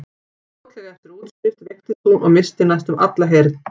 Fljótlega eftir útskrift veiktist hún og missti næstum alla heyrn.